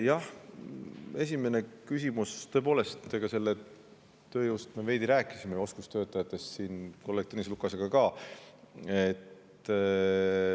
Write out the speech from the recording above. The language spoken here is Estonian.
Jah, esimene küsimus – tõepoolest, tööjõust me veidi juba rääkisime, oskustöötajatest, kolleeg Tõnis Lukasega ka.